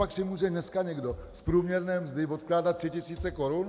Copak si může dneska někdo z průměrné mzdy odkládat tři tisíce korun?